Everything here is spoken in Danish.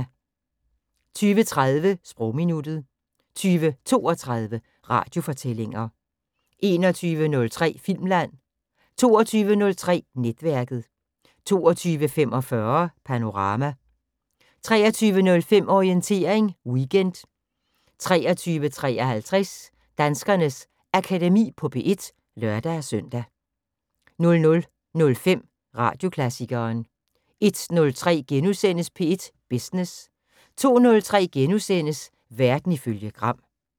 20:30: Sprogminuttet 20:32: Radiofortællinger 21:03: Filmland 22:03: Netværket 22:45: Panorama 23:05: Orientering Weekend 23:53: Danskernes Akademi på P1 (lør-søn) 00:05: Radioklassikeren 01:03: P1 Business * 02:03: Verden ifølge Gram *